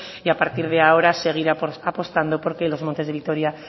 y a partir de ahora seguir apostando por que los montes de vitoria